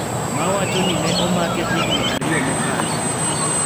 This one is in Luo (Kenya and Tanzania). Ma wacho ni ne omake higni ariyo mokalo,